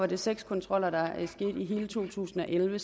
der seks kontroller i hele to tusind og elleve